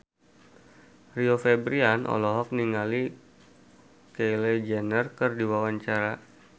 Rio Febrian olohok ningali Kylie Jenner keur diwawancara